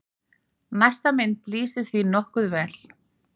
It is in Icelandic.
Næsta mynd lýsir því nokkuð vel.